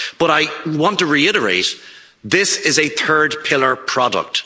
But I want to reiterate, this is a third pillar product.